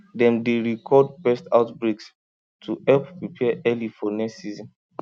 dem dey record pest outbreaks to help prepare early for next season